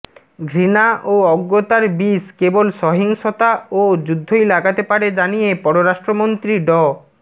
ঘৃণা ও অজ্ঞতার বিষ কেবল সহিংসতা ও যুদ্ধই লাগাতে পারে জানিয়ে পররাষ্ট্রমন্ত্রী ড